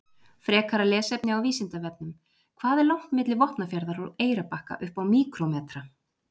Frekara lesefni á Vísindavefnum: Hvað er langt milli Vopnafjarðar og Eyrarbakka upp á míkrómetra?